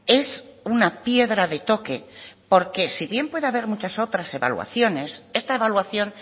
es una piedra de toque porque si bien puede haber muchas otras evaluaciones esta evaluación